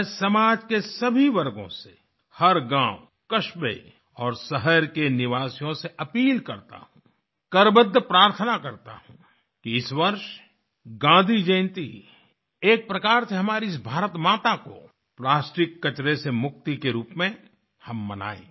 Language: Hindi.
मैं समाज के सभी वर्गों से हर गाँव कस्बे में और शहर के निवासियों से अपील करता हूँ करबद्ध प्रार्थना करता हूँ कि इस वर्ष गाँधी जयंती एक प्रकार से हमारी इस भारत माता को प्लास्टिक कचरे से मुक्ति के रूप में हम मनाये